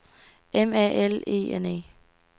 M A L E N E